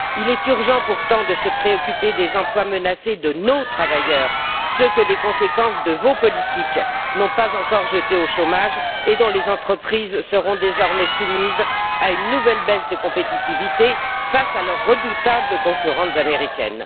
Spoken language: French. Il est urgent, pourtant, de se préoccuper des emplois menacés de nos travailleurs, ceux que les conséquences de vos politiques n'ont pas encore jetés au chômage et dont les entreprises subiront désormais une nouvelle baisse de compétitivité face à leurs redoutables concurrentes américaines.